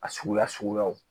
A suguya suguyaw